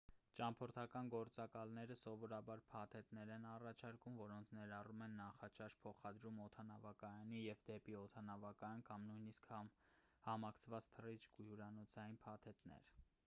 ճամփորդական գործակալները սովորաբար փաթեթներ են առաջարկում որոնք ներառում են նախաճաշ փոխադրում օդանավակայանից և դեպի օդանավակայան կամ նույնիսկ համակցված թռիչք ու հյուրանոցային փաթեթներ